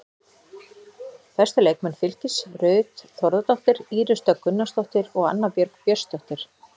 Bestu leikmenn Fylkis: Ruth Þórðardóttir, Íris Dögg Gunnarsdóttir og Anna Björg Björnsdóttir.